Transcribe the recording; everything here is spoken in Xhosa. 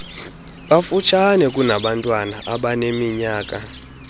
bafutshane kunabantwana abaneminyaka